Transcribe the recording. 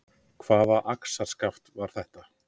Hvaða axarskaft var þetta?